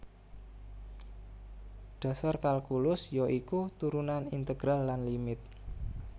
Dhasar kalkulus ya iku turunan integral lan limit